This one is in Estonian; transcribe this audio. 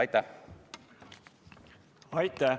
Aitäh!